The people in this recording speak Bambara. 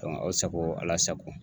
aw sago Ala sago